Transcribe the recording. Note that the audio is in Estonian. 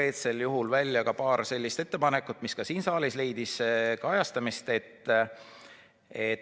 Ta tõi välja paar sellist ettepanekut, mis ka siin saalis leidsid kajastamist.